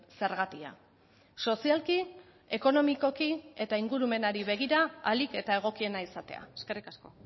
zergatia sozialki ekonomikoki eta ingurumenari begira ahalik eta egokiena izatea eskerrik asko